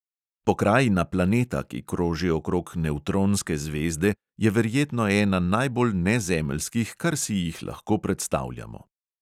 Pokrajina planeta, ki kroži okrog nevtronske zvezde, je verjetno ena najbolj nezemeljskih, kar si jih lahko predstavljamo.